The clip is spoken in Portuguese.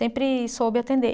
Sempre soube atender.